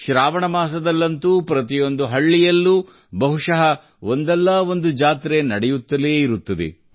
ಶ್ರಾವಣ ಮಾಸದಲ್ಲಂತೂ ಪ್ರತಿಯೊಂದು ಹಳ್ಳಿಯಲ್ಲೂ ಬಹುಶಃ ಒಂದಲ್ಲಾ ಒಂದು ಜಾತ್ರೆ ನಡೆಯುತ್ತಲೇ ಇರುತ್ತದೆ